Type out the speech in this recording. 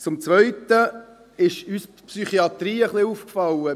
Zum Zweiten ist uns die Psychiatrie aufgefallen.